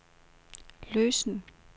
løsen